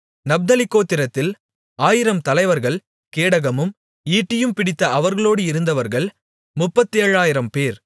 நப்தலி கோத்திரத்தில் ஆயிரம் தலைவர்கள் கேடகமும் ஈட்டியும் பிடித்த அவர்களோடு இருந்தவர்கள் முப்பத்தேழாயிரம்பேர்